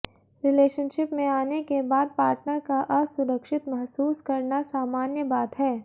relationship में आने के बाद पार्टनर का असुरक्षित महसूस करना सामान्य बात है